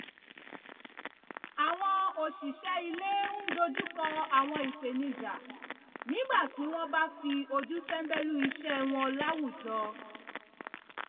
àwọn òṣìṣẹ́ ilé ń dojúkọ àwọn ìpènijà nígbà tí wọ́n bá fi ojú tẹ́ńbẹ́lú iṣẹ́ wọn láwùjọ